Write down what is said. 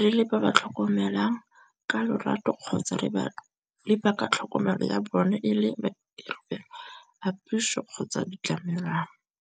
re le ba ba tlhokomelang ka lorato kgotsa re baka tlhokomelo ya bone e le puso kgotsa ditlamelwana.